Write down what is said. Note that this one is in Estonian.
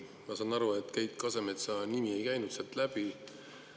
Ma saan aru, et Keit Kasemetsa nimi ei käinud sealt läbi.